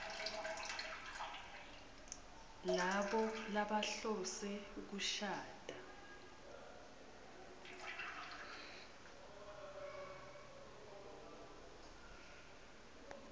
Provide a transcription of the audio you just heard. labo labahlose kushada